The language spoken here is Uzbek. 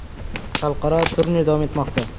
Xalqaro turnir davom etmoqda.